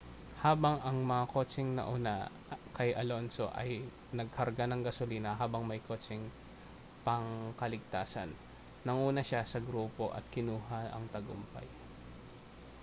habang ang mga kotseng nauna kay alonso ay nagkarga ng gasolina habang may kotseng pangkaligtasan nanguna siya sa grupo at kinuha ang tagumpay